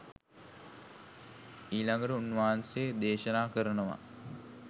ඊළඟට උන්වහන්සේ දේශනා කරනවා